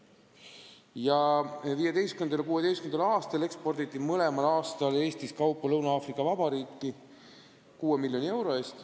Nii 2015. kui ka 2016. aastal eksporditi Eestist Lõuna-Aafrika Vabariiki kaupa 6 miljoni euro eest.